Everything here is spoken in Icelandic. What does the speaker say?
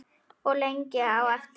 Og lengi á eftir.